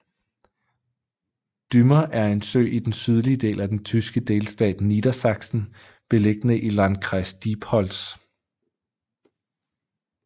Dümmer er en sø i den sydlige del af den tyske delstat Niedersachsen beliggende i Landkreis Diepholz